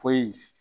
Foyi